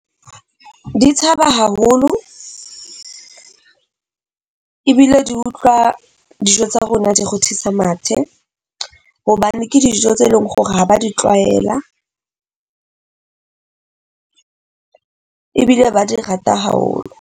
Di tshaba haholo ebile di utlwa dijo tsa rona di rothisa mathe, hobane ke dijo tse leng hore ha ba di tlwaela ebile ba di rata haholo.